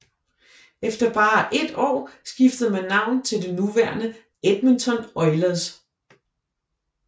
Efter bare ét år skiftede man navn til det nuværende Edmonton Oilers